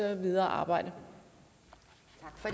videre arbejde